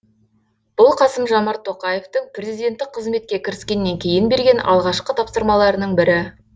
бұл қасым жомарт тоқаевтың президенттік қызметке кіріскеннен кейін берген алғашқы тапсырмаларының бірі